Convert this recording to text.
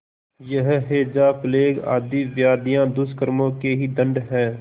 यह हैजाप्लेग आदि व्याधियाँ दुष्कर्मों के ही दंड हैं